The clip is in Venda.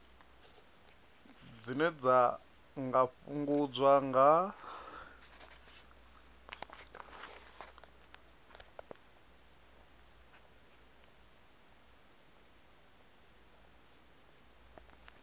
dzine dza nga fhungudzwa nga